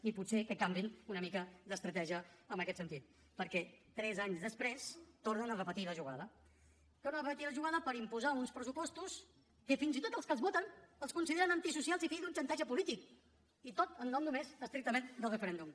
i potser que canviïn una mica d’estratègia en aquest sentit perquè tres anys després tornen a repetir la jugada tornen a repetir la jugada per imposar uns pressupostos que fins i tot els que els voten els consideren antisocials i fills d’un xantatge polític i tot en nom només estrictament del referèndum